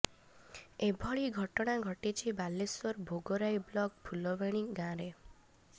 ଏଭଳି ଘଟଣା ଘଟିଛି ବାଲେଶ୍ୱର ଭୋଗରାଇ ବ୍ଲକ ଫୁଲବଣୀ ଗାଁରେ